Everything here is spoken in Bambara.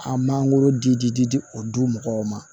An mangoro di di di di di di di o di mɔgɔw ma